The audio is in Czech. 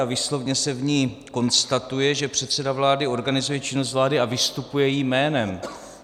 A výslovně se v ní konstatuje, že předseda vlády organizuje činnost vlády a vystupuje jejím jménem.